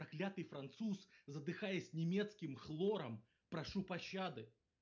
проклятый француз задыхаясь немецким хлором прошу пощады